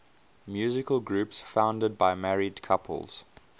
musical groups founded by married couples